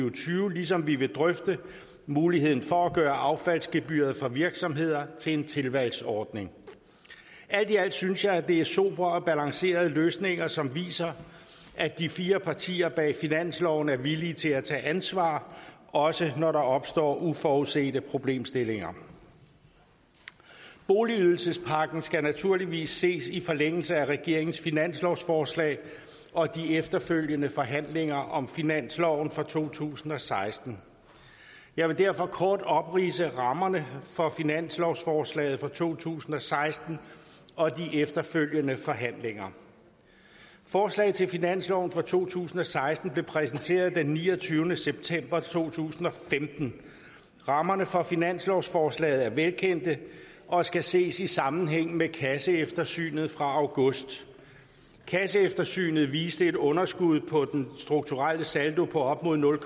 og tyve ligesom vi vil drøfte muligheden for at gøre affaldsgebyret for virksomheder til en tilvalgsordning alt i alt synes jeg det er sobre og balancerede løsninger som viser at de fire partier bag finansloven er villige til at tage ansvar også når der opstår uforudsete problemstillinger boligydelsespakken skal naturligvis ses i forlængelse af regeringens finanslovsforslag og de efterfølgende forhandlinger om finansloven for to tusind og seksten og jeg vil derfor kort opridse rammerne for finanslovsforslaget for to tusind og seksten og de efterfølgende forhandlinger forslaget til finansloven for to tusind og seksten blev præsenteret den niogtyvende september to tusind og femten rammerne for finanslovsforslaget er velkendte og skal ses i sammenhæng med kasseeftersynet fra august kasseeftersynet viste et underskud på den strukturelle saldo på op imod nul